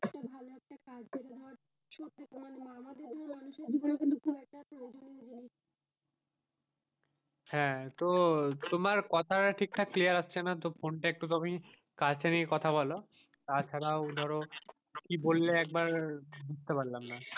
হাঁ তো তোমার কথা তা ঠিক ঠাক clear আসছে না তো, তো ফোন টা একটু তুমি কাছে নিয়ে কথা বোলো তাছাড়াও ধরো কি বললে একবার বুঝতে পারলাম না,